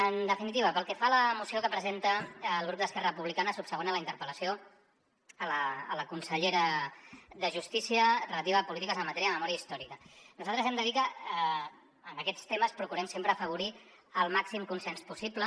en definitiva pel que fa a la moció que presenta el grup d’esquerra republicana subsegüent a la interpel·lació a la consellera de justícia relativa a polítiques en matèria de memòria històrica nosaltres hem de dir que en aquests temes procurem sempre afavorir el màxim consens possible